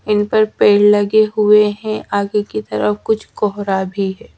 इन पर पेड़ लगे हुए हैं आगे की तरफ कुछ कोहरा भी है।